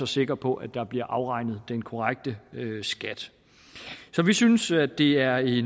sikre på at der bliver afregnet den korrekte skat så vi synes at det er